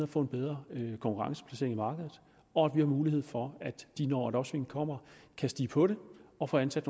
få en bedre konkurrenceplacering i markedet og vi har mulighed for at de når et opsving kommer kan stige på det og få ansat